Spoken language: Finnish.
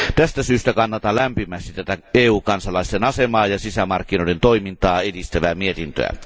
Tästä syystä kannatan lämpimästi tätä EU kansalaisten asemaa ja sisämarkkinoiden toimintaa edistävää mietintöä.